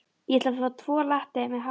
Ég ætla að fá tvo latte með haframjólk.